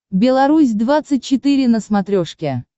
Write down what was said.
беларусь двадцать четыре на смотрешке